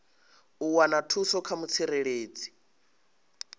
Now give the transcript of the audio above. u wana thuso kha mutsireledzi